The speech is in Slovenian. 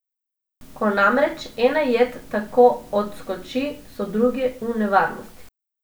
Ko, namreč, ena jed tako odskoči, so druge v nevarnosti.